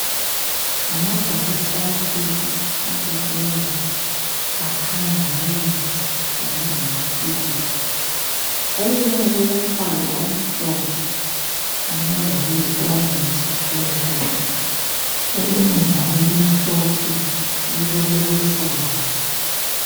Ngamabhokisi amabili abekiweyo akhanya ngawemithi Kanye lamaphilisi. Elinye lilombala omhlophe kanye lokuyi orentshi phezulu. Elinye njalo limhlophe lilokuluhlaza.